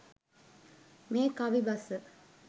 මේ කවි බස